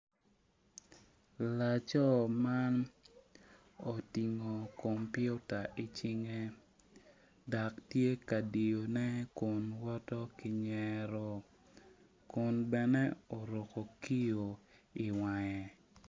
Laco man otingo kumpita icingge dok tye ka diyone kun woto ki nyero kun bene oruku kiyo iwangge